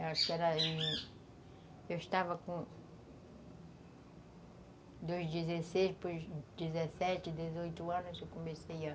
Eu estava com... dos dezesseis para os dezessete, dezoito anos eu comecei a